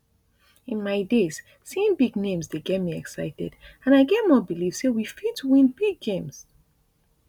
in my days seeing big names dey get me excited and i get more belief say we fit win big games